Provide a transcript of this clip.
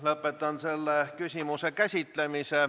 Lõpetan selle küsimuse käsitlemise.